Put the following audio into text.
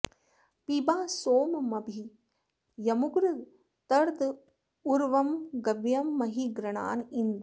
पिबा सोममभि यमुग्र तर्द ऊर्वं गव्यं महि गृणान इन्द्र